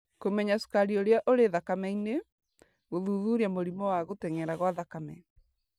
Kũmenya cukari ũrĩa ũrĩ thakame-inĩ, gũthuthuria mũrimũ wa gũtenyera gwa thakame,